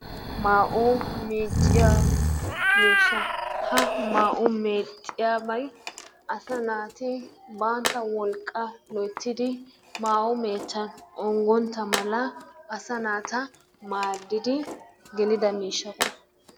Maa'o meecciya miishshaa ha maa'o meecciyabay asa naati bantta wolqqaa loyttidi maayo meechchan onggotta mala asa maaddidi gelida miishshata.